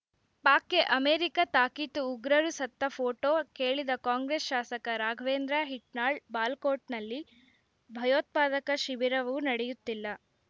ಪಾಕ್‌ಗೆ America ತಾಕೀತು ಉಗ್ರರು ಸತ್ತ ಫೋಟೋ ಕೇಳಿದ ಕಾಂಗ್ರೆಸ್‌ ಶಾಸಕ ರಾಘವೇಂದ್ರ ಹಿಟ್ನಾಳ್ ಬಾಲಾಕೋಟ್‌ನಲ್ಲಿ ಭಯೋತ್ಪಾದಕ ಶಿಬಿರವೂ ನಡೆಯುತ್ತಿಲ್ಲ